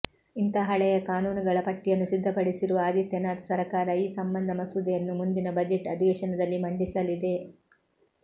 ಇಂಥ ಹಳೆಯ ಕಾನೂನುಗಳ ಪಟ್ಟಿಯನ್ನು ಸಿದ್ಧಪಡಿಸಿರುವ ಆದಿತ್ಯನಾಥ್ ಸರಕಾರ ಈ ಸಂಬಂಧ ಮಸೂದೆಯನ್ನು ಮುಂದಿನ ಬಜೆಟ್ ಅಧಿವೇಶನದಲ್ಲಿ ಮಂಡಿಸಲಿದೆ